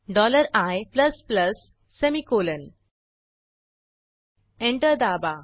dollar I plus plus semicolon enter दाबा